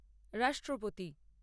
রাষ্ট্রপতি